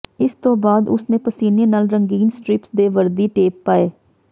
ਇਸ ਤੋਂ ਬਾਅਦ ਉਸਨੇ ਪਸੀਨੇ ਨਾਲ ਰੰਗੀਨ ਸਟ੍ਰਿਪਸ ਦੇ ਵਰਦੀ ਟੇਪ ਪਾਏ